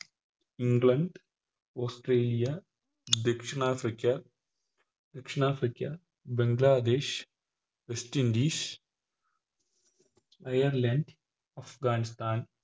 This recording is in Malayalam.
ഇഗ്ലണ്ട് ഓസ്‌ട്രേലിയ ദക്ഷിണാഫ്രിക്ക ദക്ഷിണാഫ്രിക്ക ബംഗ്ലാദേശ് വെസ്റ്റിന്റീസ് ഐർലാൻഡ് അഫ്‌ഗാനിസ്ഥാൻ